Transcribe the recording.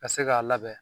Ka se k'a labɛn